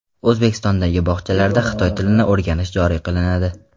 O‘zbekistondagi bog‘chalarda xitoy tilini o‘rganish joriy qilinadi.